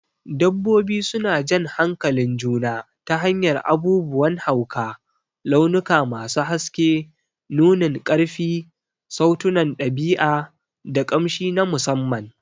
Dabbobi suna jan hankalin juna ta hanyar abubuwan hauka, launuka masu haske, nunin ƙarfi, sautunan ɗabi'a, da ƙamshi na musamman.